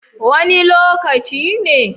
Wani lokaci ne?